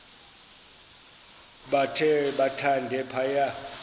bathe thande phaya